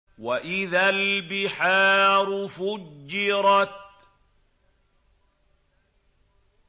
وَإِذَا الْبِحَارُ فُجِّرَتْ